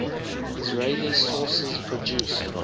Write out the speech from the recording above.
israeli sources produce